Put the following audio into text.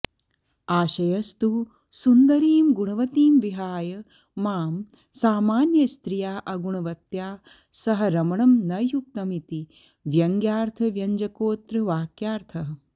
आशयस्तु सुन्दरीं गुणवतीं विहाय मां सामान्यस्त्रिया अगुणवत्या सह रमणं न युक्तमिति व्यङ्गयार्थव्यञ्जकोऽत्र वाक्यार्थः